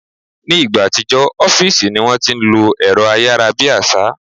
Ni ìgbà àtijọ́, ọ́fìsì ní wọ́n ti ń lo ẹ̀rọ ayára bí àṣá